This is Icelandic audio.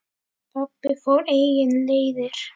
Pabbi fór eigin leiðir.